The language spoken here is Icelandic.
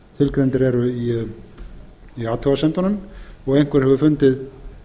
tilgreindir eru í athugasemdunum og einhver hefur fundið